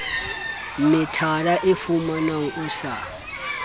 metara o fumanwa o sa